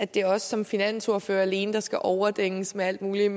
det er os som finansordførere der alene skal overdænges med alt muligt